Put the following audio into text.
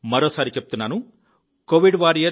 మరోసారి చెప్తుుున్నాను covidwarriors